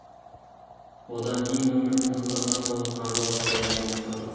одан кейін өмірдің қызығына толы қарбалас бәрін ұмыттырды